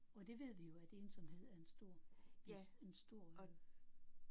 Og det ved vi jo at ensomhed er en stor en stor øh